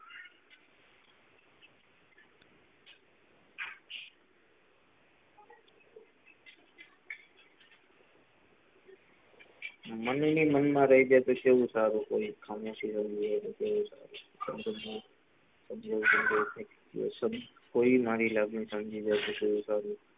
મને ની મન માં રહી જાય તો કે વું સારું, કોઈ ખામોશી સમજી જાય તો કેવું સારું કોઈ મારી લાગણી સમજી જાય તો કેવું સારું.